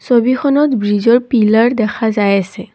ছবিখনত ব্ৰীজৰ পিলাৰ দেখা যায় আছে।